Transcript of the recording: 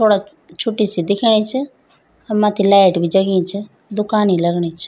थोडा छुट्टी सी दिखेणी च अर मत्थी लाइट भी जगीं च दुकान ही लगणी च।